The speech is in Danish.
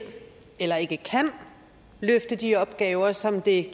eller ikke kan løfte de opgaver som det